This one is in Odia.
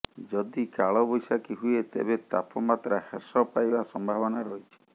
ଯଦି କାଳ ବୈଶାଖୀ ହୁଏ ତେବେ ତାପମାତ୍ରା ହ୍ରାସ ପାଇବା ସମ୍ଭାବନା ରହିଛି